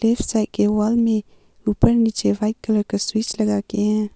Left side के wall में उपर नीचे व्हाइट कलर का स्विच लगा के है।